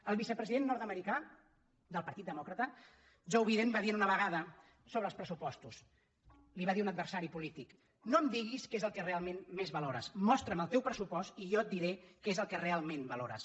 el vicepresident nord·americà del partit demòcrata joe biden va dir una vegada sobre els pressupostos li ho va dir a un ad·versari polític no em diguis què és el que realment més valores mostra’m el teu pressupost i jo et diré què és el que realment valores